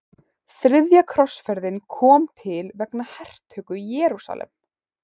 Þriðja krossferðin kom til vegna hertöku Jerúsalem.